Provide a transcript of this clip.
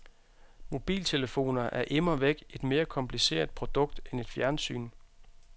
Mobiltelefoner er immervæk et mere kompliceret produkt end et fjernsyn.